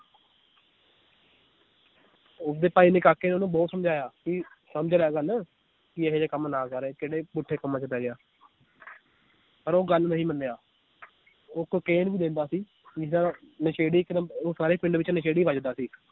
ਉਸ ਦੇ ਭਾਈ ਕਾਕੇ ਨੇ ਉਹਨੂੰ ਬਹੁਤ ਸਮਝਾਇਆ ਕਿ ਸਮਝ ਰਿਹਾ ਗੱਲ ਕਿ ਇਹ ਜਿਹੇ ਕੰਮ ਨਾ ਕਰ ਕਿਹੜੇ ਪੁੱਠੇ ਕੰਮਾਂ ਚ ਪੈ ਗਿਆ ਪਰ ਉਹ ਗੱਲ ਨਹੀਂ ਮੰਨਿਆ ਉਹ ਕੋਕੇਨ ਵੀ ਲੈਂਦਾ ਸੀ ਪੀਂਦਾ ਤਾਂ ਨਸ਼ੇੜੀ ਇਕ ਨੰਬ~ ਉਹ ਸਾਰੇ ਪਿੰਡ ਵਿਚ ਨਸ਼ੇੜੀ ਵੱਜਦਾ ਸੀ l